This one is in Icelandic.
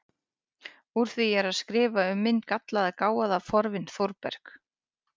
Úr því ég er að skrifa um minn gallaða, gáfaða fornvin Þórberg